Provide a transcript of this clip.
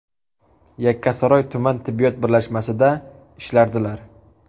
Yakkasaroy tuman tibbiyot birlashmasida ishlardilar.